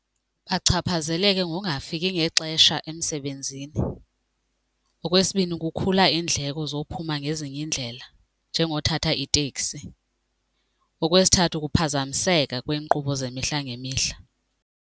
Bachaphazeleke ngongafiki ngexesha emsebenzini. Okwesibini, kukhula iindleko zokuphuma ngezinye iindlela njengokuthatha iteksi. Okwesithathu kuphazamiseka kweenkqubo zemihla ngemihla.